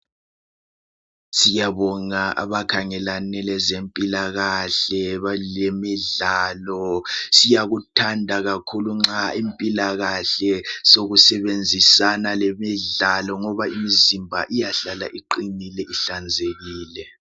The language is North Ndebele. siyabonga abakhangelane lezempilakahle balemidlalo siyakuthanda kakhulu nxa impilakahle sokusebenzisana lemidlalo ngoba imizimba iyahlala iqhinile ihlanzekile